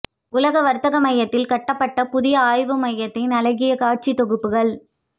உலக வர்த்தக மையத்தில் கட்டப்பட்ட புதிய ஆய்வுமையத்தின் அழகிய காட்சி தொகுப்புகள்